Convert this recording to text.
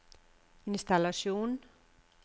innstallasjon